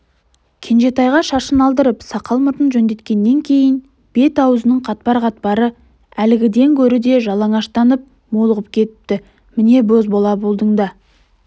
кенжетайға шашын алдырып сақал-мұртын жөндеткеннен кейін бет-аузының қатпар-қатпары әлгіден гөрі де жалаңаштанып молығып кетіпті міне бозбала болдың да